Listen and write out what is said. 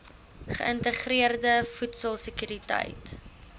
geïntegreerde voedsel sekuriteit